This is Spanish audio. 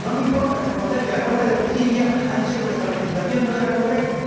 No me importa reconocer que el Tribunal de Justicia ha dicho que nuestra legislación no era correcta.